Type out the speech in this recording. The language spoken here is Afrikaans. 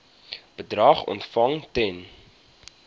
bedrag ontvang ten